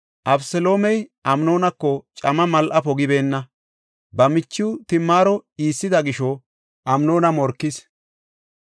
Abeseloomey Amnoonako camma mal7a pogibeenna. Ba michiw Timaaro iissida gisho Amnoona morkis.